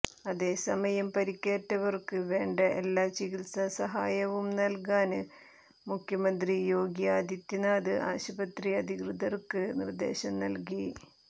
അതേസമയം പരിക്കേറ്റവര്ക്ക് വേണ്ട എല്ലാ ചികിത്സാ സഹായവും നല്കാന് മുഖ്യമന്ത്രി യോഗി ആദിത്യനാഥ് ആശുപത്രി അധികൃതർക്ക് നിർദേശം നൽകി